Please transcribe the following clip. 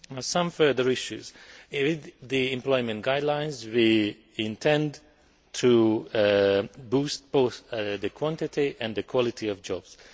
Some further issues with the employment guidelines, we intend to boost both the quantity and the quality of jobs.